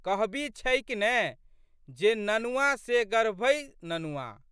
कहबी छैक ने, जे ननुआ से गर्भहि ननुआ।